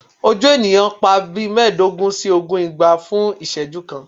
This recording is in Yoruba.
Oju eniyan n pa bii meedogun si ogun igba fun iseju kan